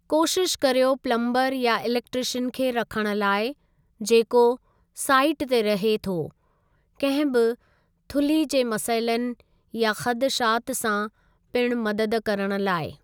कोशिश करियो पलम्बर या इलेकट्रीशियन खे रखणु लाइ जेको साईट ते रहे थो कंहिं बि थुल्ही जे मसइलनि या ख़दशात सां पिणु मदद करणु लाइ।